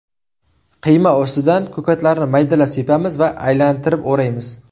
Qiyma ustidan ko‘katlarni maydalab sepamiz va aylantirib o‘raymiz.